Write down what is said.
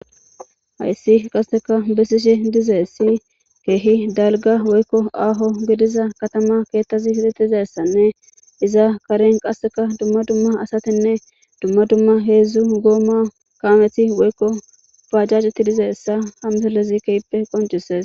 hayssi qasseka bessishi dizeessi keehi dalga woykko aaho gidiza katama keettazi hilitizessanne iza karen qasseka dumma dumma asatinne dumma dumma heedzdzu gooma kaameti woykko paajjajetti dizeessa hamelezi keippe qoncises